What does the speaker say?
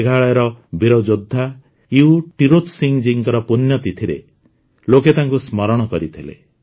ମେଘାଳୟର ବୀର ଯୋଦ୍ଧା ୟୂ ଟିରୋତ୍ ସିଂହ ଜୀଙ୍କ ପୂଣ୍ୟତିଥିରେ ଲୋକେ ତାଙ୍କୁ ସ୍ମରଣ କରିଥିଲେ